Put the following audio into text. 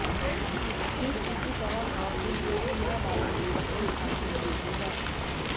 ठीक इसी तरह हाथ के लिये भी यह बायोनिक तकनीक खासी उपयोगी है